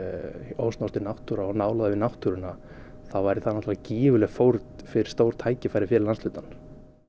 ósnortin náttúra og nálægð við náttúruna þá væri það náttúrulega gífurleg fórn fyrir stór tækifæri fyrir landshlutann